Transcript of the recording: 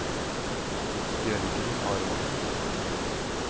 Jørgen Aronsen